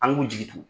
An k'u jigi to